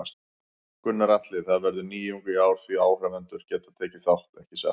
Gunnar Atli: Það verður nýjung í ár því áhorfendur geta tekið þátt, ekki satt?